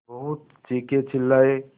बहुत चीखेचिल्लाये